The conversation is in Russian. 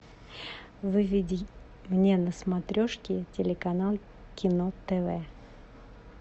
выведи мне на смотрешке телеканал кино тв